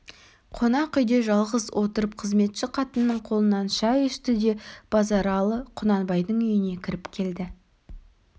қонақ үйде жалғыз отырып қызметші қатынның қолынан шай ішті де базаралы құнанбайдың өз үйіне кіріп келді